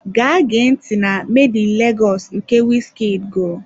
Gaa gee ntị na "Made in Lagos" nke wizkid gụrụ!